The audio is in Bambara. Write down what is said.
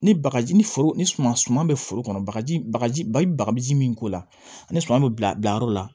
Ni bagaji ni foro ni foro kɔnɔ bagaji bagaji i bɛ bagaji min k'o la ani suma bɛ bila bila yɔrɔ la